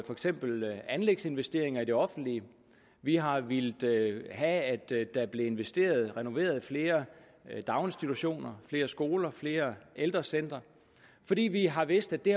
for eksempel anlægsinvesteringer i det offentlige vi har villet have at der blev investeret i og renoveret flere daginstitutioner flere skoler flere ældrecentre fordi vi har vidst at det